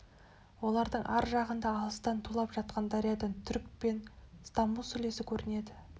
олардың ар жағында алыстан тулап жатқан дариядан түрік пен стамбул сүлесі көрінеді